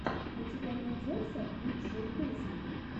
у тебя найдется лучшие песни